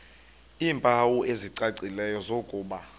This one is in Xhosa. iimpawu ezicacileyo zokuba